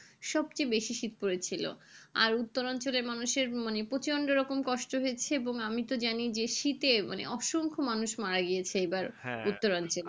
সবচেয়ে বেশি শীত পড়েছে ছিল আর উত্তর অঞ্চলে মানুষের মানে প্রচন্ড রকমের কষ্ট হয়েছে এবং আমি তো জানি যে শীতের অসংখ্য মানুষ মারা গিয়েছে এইবার উত্তর অঞ্চলে